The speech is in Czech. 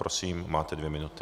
Prosím, máte dvě minuty.